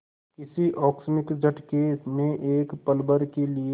किसी आकस्मिक झटके ने एक पलभर के लिए